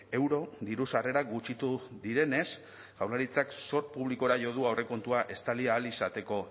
euro diru sarrerak gutxitu direnez jaurlaritzak zor publikora jo du aurrekontua estali ahal izateko